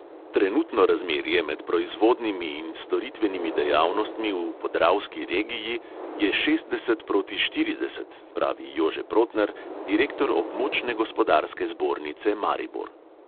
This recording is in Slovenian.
Trenutno razmerje med proizvodnimi in storitvenimi dejavnostmi v podravski regiji je šestdeset proti štirideset, pravi jože protner, direktor območne gospodarske zbornice maribor.